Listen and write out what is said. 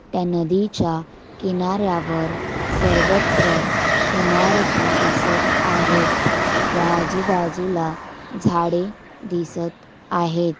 त्या नदीच्या किनाऱ्यावर सर्वत्र ईमारती दिसत आहेत व आजूबाजूला झाड़े दिसत आहेत.